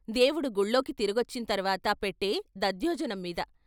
దేవుడు గుళ్ళోకి తిరిగొచ్చిన తర్వాత పెట్టే దధ్యోజనం మీద.